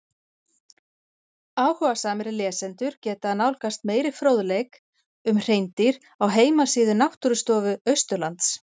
Áhugasamir lesendur geta nálgast meiri fróðleik um hreindýr á heimasíðu Náttúrustofu Austurlands.